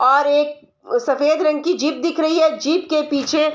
और एक सफ़ेद रंग की जीप दिख रही है जीप के पीछे --